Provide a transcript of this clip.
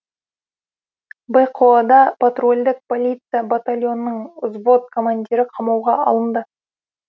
бқо да патрульдік полиция батальонының взвод командирі қамауға алынды